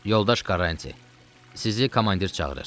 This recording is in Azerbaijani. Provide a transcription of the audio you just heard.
Yoldaş Karranti, sizi komandir çağırır.